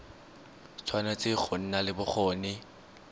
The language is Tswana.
tshwanetse go nna le bokgoni